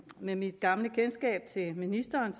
med mit gamle kendskab til ministeren